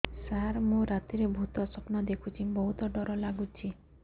ସାର ମୁ ରାତିରେ ଭୁତ ସ୍ୱପ୍ନ ଦେଖୁଚି ବହୁତ ଡର ଲାଗୁଚି